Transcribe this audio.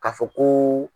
K'a fɔ koo